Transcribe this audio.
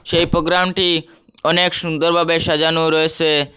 এই প্রোগ্রামটি অনেক সুন্দরভাবে সাজানো রয়েছে।